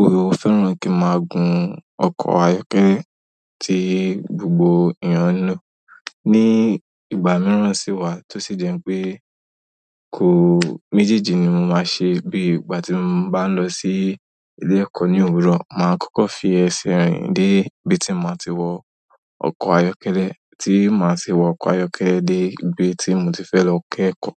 ó fẹ́ràn kí n máa gun ọkọ̀ ayọ́kẹ́lẹ́ tí gbogbo ènìyàn ń lo. Ni ìgbà mìíràn sì wà tó sì jẹ́ pé kó méjèèjì ni mo máa ṣe bí ìgbà tí mo bá ń lọ sí ilé ẹ̀kọ́ ní òwúrọ̀, màá kọ́kọ́ fi ẹsẹ̀ rìn dé ibi tí ma ti wọ ọkọ̀ ayọ́kẹ́lẹ́, tí màá sì wọ ọkọ̀ ayọ́kẹ́lẹ́ dé ibi tí mo ti fẹ́ lọ kẹ̀kọ́.